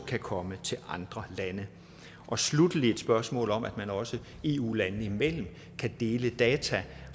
kan komme til andre lande sluttelig er der et spørgsmål om at man også eu landene imellem kan dele data